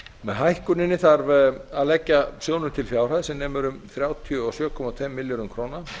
með hækkuninni þarf að leggja sjóðnum til fjárhæð sem nemur um þrjátíu og sjö komma tveimur milljörðum króna